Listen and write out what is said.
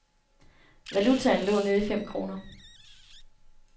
Valutaen lå nede i fem kroner.